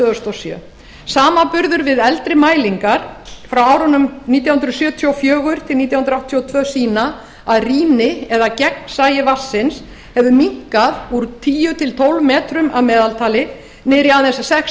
þúsund og sjö samanburður við eldri mælingar frá árunum nítján hundruð sjötíu og fjögur til nítján hundruð áttatíu og tvö sýna að rýni eða gegnsæi vatnsins hefur minnkað úr tíu til tólf metrum að meðaltali niður í aðeins sex